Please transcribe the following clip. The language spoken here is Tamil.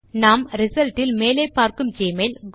நாம் ரிசல்ட் இல் மேலே பார்க்கும் ஜிமெயில்